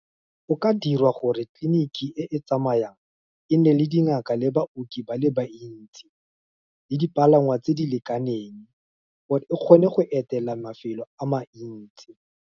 Go ka dirwa gore tliliniki e e tsamayang, e nne le dingaka le baoki ba le bantsi, le dipalangwa tse di lekaneng, gore e kgone go etela mafelo a mantsi.